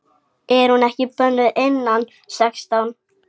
Er hún ekki bönnuð innan sextán?